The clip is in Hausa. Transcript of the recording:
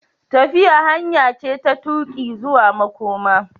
Tafiya hanya ce ta tuƙi zuwa makoma.